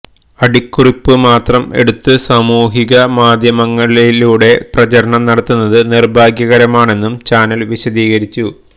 അടിക്കുറിപ്പ് മാത്രം എടുത്ത് സാമൂഹികമാധ്യമങ്ങളിലൂടെ പ്രചരണം നടത്തുന്നത് നിർഭാഗ്യകരമാണെന്നും ചാനൽ വിശദീകരിച്ചു